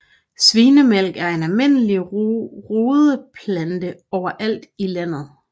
Svinemælk er en almindelig ruderatplante overalt i landet